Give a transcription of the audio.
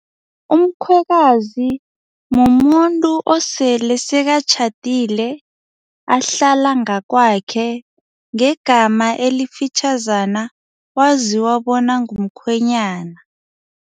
Umkhwekazi mumuntu osele sekatjhadile ahlala ngakwakhe ngegama elifitjhazana waziwa bona ngumkhwenyana.